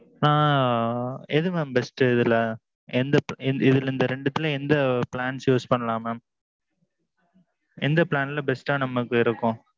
எது mam best இதுல இந்த ரெண்டுல எத use பண்ணலாம் mam? எந்த plan best ட்டா நமக்கு இருக்கும்.